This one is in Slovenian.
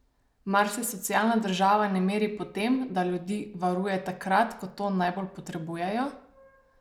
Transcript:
Mar se socialna država ne meri po tem, da ljudi varuje takrat, ko to najbolj potrebujejo?